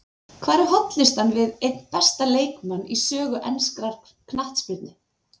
Hvar er hollustan við einn besta leikmann í sögu enskrar knattspyrnu?